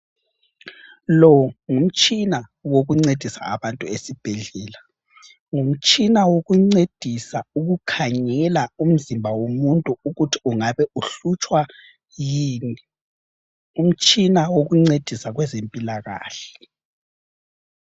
Lo ngumtshina wokuncedisa abantu esibhedlela. Ngumtshina wokuncedisa ukukhangela umzimba womuntu ukuthi ungabe uhlutshwa yini. Ngumtshina wokuncedisa kwezempilakahle.